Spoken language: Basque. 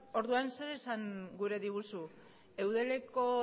orduan zer esan gure diguzu eudeleko